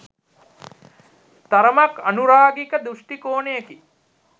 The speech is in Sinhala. තරමක් අනුරාගික දෘෂ්ටිකෝණයකි